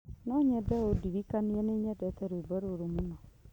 No nyende ũndirikanie nĩ nyendete rwĩmbo rũrũ mũno.